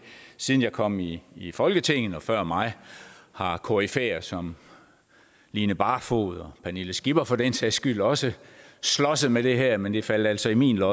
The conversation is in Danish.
siden jeg kom i i folketinget og før mig har koryfæer som line barfod og pernille skipper for den sags skyld også slåsset med det her men det faldt altså i min lod